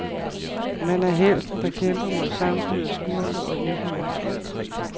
Man er helten, der kæmper mod et samfund af skurke og uhyrer.